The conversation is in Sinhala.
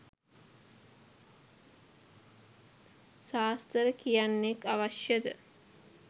සාස්තර කියන්නෙක් අවශ්‍ය ද?